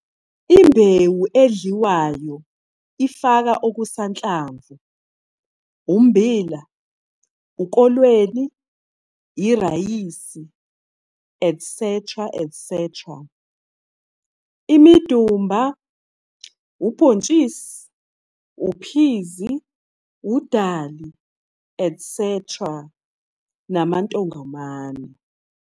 Imbewu edliwayo ifaka okusanhlamvu, ummbila, ukolweni, irayisi, et cetera, imidumba, ubhontshisi, uphizi, udali, et cetera, namantongomane.